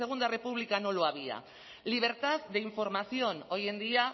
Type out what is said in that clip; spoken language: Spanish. segunda república no lo había libertad de información hoy en día